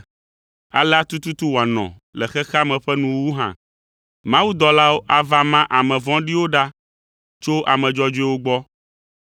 Alea tututu wòanɔ le xexea me ƒe nuwuwu hã. Mawudɔlawo ava ma ame vɔ̃ɖiwo ɖa tso ame dzɔdzɔewo gbɔ,